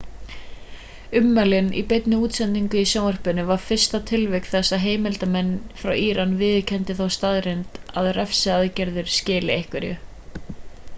ummælin í beinni útsendingu í sjónvarpinu var fyrsta tilvik þess að heimildarmenn frá íran viðurkenni þá staðreynd að refsiaðgerðirnar skili einhverju